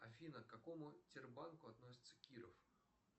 афина к какому тер банку относится киров